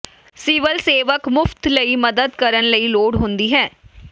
civil ਸੇਵਕ ਮੁਫ਼ਤ ਲਈ ਮਦਦ ਕਰਨ ਲਈ ਲੋੜ ਹੁੰਦੀ ਹੈ